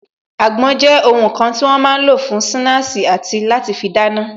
Àgbon jẹ́ ohun kan tí wọ́n máa ń lò fún sinasi àti láti fi dáná